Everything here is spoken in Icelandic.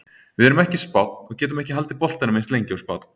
Við erum ekki Spánn og getum ekki haldið boltanum eins lengi og Spánn.